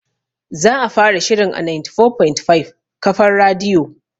Za'a fara shirin a 94.5 kafar radiyo